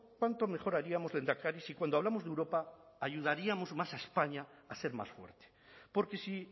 cuánto mejor haríamos lehendakari si cuando hablamos de europa ayudaríamos más a españa a ser más fuerte porque si